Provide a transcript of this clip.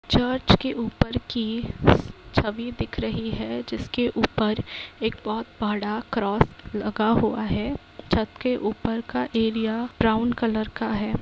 Church की ऊपर की छवि दिख रही है जिसके ऊपर एक बहुत बड़ा क्रॉस लगा हुआ है छत के ऊपर का एरिया ब्राउन कलर का है।